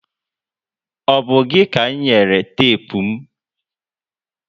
O bu gị ka m nyere tepu m?